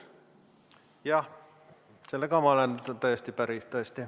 Jah, sellega ma olen täiesti päri.